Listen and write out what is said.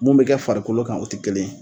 Mun be kɛ farikolo kan o te kelen ye